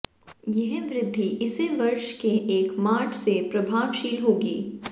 यह वृद्धि इसी वर्ष के एक मार्च से प्रभावशील होगी